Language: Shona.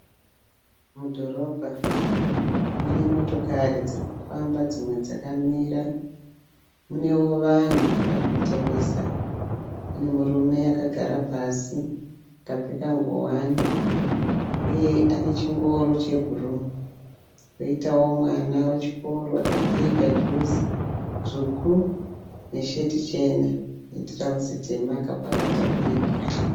Mudhorobha mune motokari dzirikufamba dzimwe dzakamira, munewo vanhu vari kutengesa. Pane murume akagara pasi akapfeka ngowani uye ane chingoro chebhuruu. Poitawo mwana wechikoro akapfeka juzi dzvuku nesheti chena netirauzi tema akapakata bhegi.